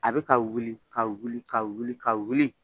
A bɛ ka wili ka wili ka wili ka wili